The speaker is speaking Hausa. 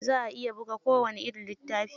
Za a iya buga kowani irin littafi.